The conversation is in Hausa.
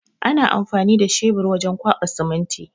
Ana amfani da shebur wajen kwaɓa siminti.